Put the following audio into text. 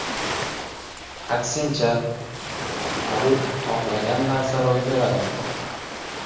Aksincha, Habib xohlagan narsa ro‘y beradi.